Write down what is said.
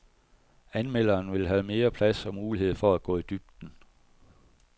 Anmelderne vil have mere plads og mulighed for at gå i dybden.